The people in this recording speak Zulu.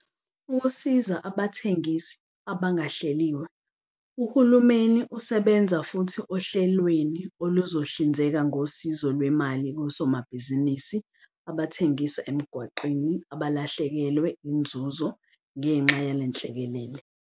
Ukusiza Abathengisi Abangahleliwe Uhulumeni usebenza futhi ohlelweni oluzohlinzeka ngosizo lwemali kosomabhizinisi abathengisa emgwaqeni abalahlekelwe inzuzo ngenxa yalenhlekelele.